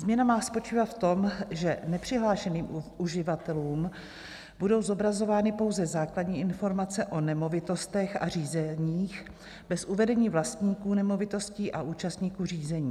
Změna má spočívat v tom, že nepřihlášeným uživatelům budou zobrazovány pouze základní informace o nemovitostech a řízeních bez uvedení vlastníků nemovitostí a účastníků řízení.